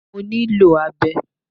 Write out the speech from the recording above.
Mo ní lò abẹ